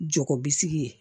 Jago bi sigi yen